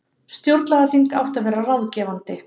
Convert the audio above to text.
Stjórnlagaþing átti að vera ráðgefandi